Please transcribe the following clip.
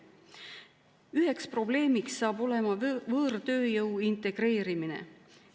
Üks probleem saab olema võõrtööjõu integreerimine.